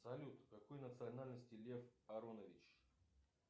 салют какой национальности лев аронович